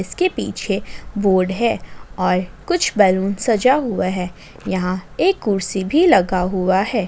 इसके पीछे बोर्ड है और कुछ बैलून सजा हुआ है यहां एक कुर्सी भी लगा हुआ है।